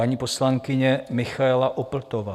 Paní poslankyně Michaela Opltová.